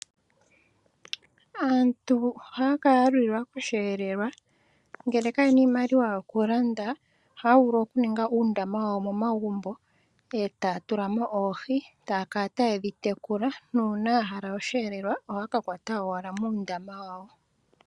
Aantu ohaya kala yalulilwa kosheelelwa ngele kayena iimaliwa yokulanda ohaya vulu okuninga uundama wawo momagumbo etaya tulamo oohi taya kala taye dhi tekula nuuna yahala osheelelwa ohaya kakwata owala muundama wawo.